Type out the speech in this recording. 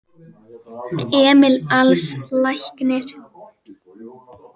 Emil Als læknir.